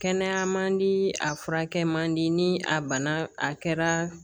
Kɛnɛya man di a furakɛ man di ni a bana a kɛra